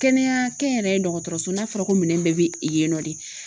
Kɛnɛya kɛnyɛrɛye dɔgɔtɔrɔso n'a fɔra ko minɛn bɛɛ bi yen nɔ de